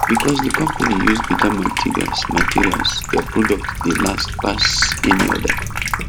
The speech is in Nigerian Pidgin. because the company use better materials materials their product dey last pass any other